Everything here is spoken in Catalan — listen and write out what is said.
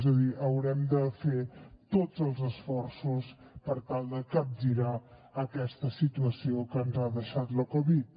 és a dir haurem de fer tots els esforços per tal de capgirar aquesta situació que ens ha deixat la covid